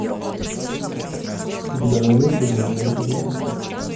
у тебя найдется гномео и джульетта